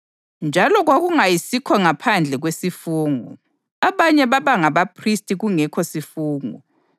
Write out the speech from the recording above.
Njalo kwakungayisikho ngaphandle kwesifungo! Abanye babangabaphristi kungekho sifungo,